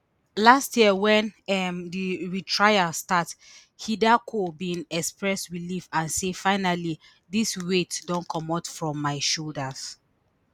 last year wen um di retrial start hideko bin express relief and say finally dis weight don comot from my shoulders